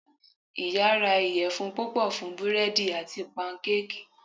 Iya ra iyẹfun pupọ fun búredì ati pankéèkí